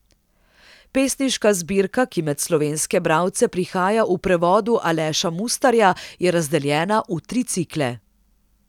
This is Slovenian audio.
Pesniška zbirka, ki med slovenske bralce prihaja v prevodu Aleša Mustarja, je razdeljena v tri cikle.